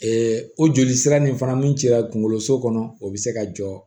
o joli sira nin fana min cɛla kunkoloso kɔnɔ o bɛ se ka jɔ